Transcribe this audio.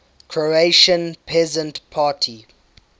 croatian peasant party